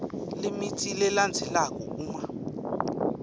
lemitsi lelandzelako uma